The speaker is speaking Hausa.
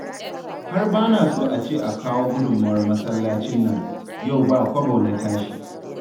Har ba na so a ce a kawo gudunmowar masallacin nan, yau ba kwabo na tashi